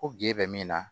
Ko ginde min na